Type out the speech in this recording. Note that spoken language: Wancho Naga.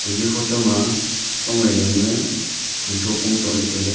eya photo ma pangnu yaw nue panue nitho pong sohley tailey.